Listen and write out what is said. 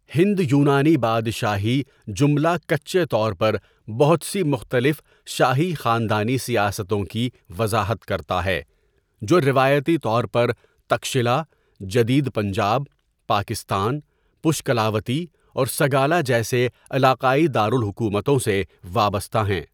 ہند یونانی بادشاہی' جملا کچے طور پر بہت سی مختلف شاہی خاندانی سیاستوں کی وضاحت کرتا ہے، جو روایتی طور پر تکشلا، جدید پنجاب، پاکستان، پشکلاوتی، اور سگالا جیسے علاقائی دارالحکومتوں سے وابستہ ہیں.